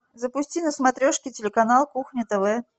запусти на смотрешке телеканал кухня тв